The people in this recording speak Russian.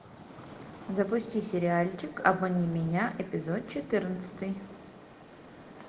запусти сериальчик обмани меня эпизод четырнадцатый